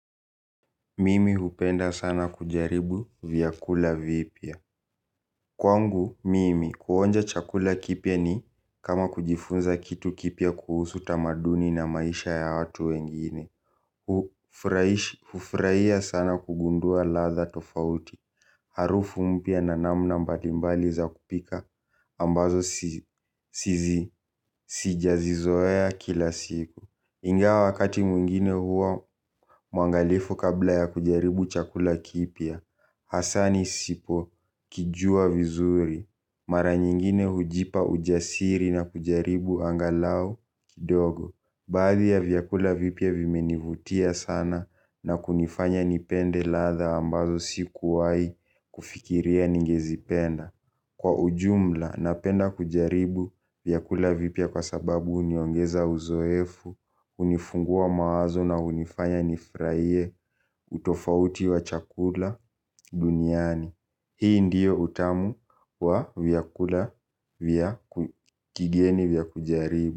Mimi hupenda sana kujaribu vyakula vipia. Kwangu, mimi, kuhonja chakula kipia ni kama kujifunza kitu kipia kuhusu tamaduni na maisha ya hatu wengine. Hufraia sana kugundua latha tofauti. Harufu mpia na namna mbalimbali za kupika ambazo sijazi zoe kila siku. Inga wakati mwingine huwa mwangalifu kabla ya kujaribu chakula kipia, hasani sipo kijua vizuri. Mara nyingine hujipa ujasiri na kujaribu angalau kidogo. Baadhi ya vyakula vipia vimenivutia sana na kunifanya nipende latha ambazo sikuwai kufikiria ningezipenda. Kwa ujumla, napenda kujaribu vyakula vipia kwa sababu uniongeza uzoefu, unifungua mawazo na unifanya nifraie utofauti wa chakula duniani. Hii ndiyo utamu wa vyakula vya kigeni vya kujaribu.